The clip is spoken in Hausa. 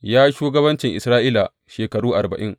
Ya yi shugabancin Isra’ila shekaru arba’in.